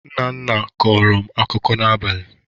Nna nna kọrọ m akụkọ n'abalị.